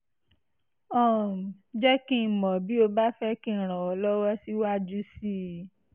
um jẹ́ kí n mọ̀ bí o bá fẹ́ kí n ràn ọ́ lọ́wọ́ síwájú sí i